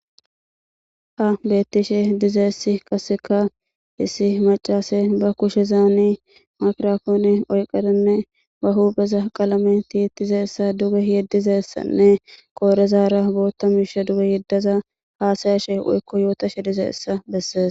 Ha beettishe diza issi qasseka issi macaase ba kushe zaani makrafoone oyqadanne ba hupheeza qalame tiyisa duge yeddiza issanne qoorezaara bootta miisha duge yeddaza haasayashe woykko yootashe diza ssai bessees.